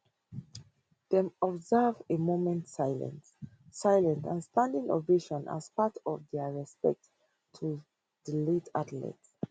dem observe a moment silence silence and standing ovation as part of dia respects to di late athlete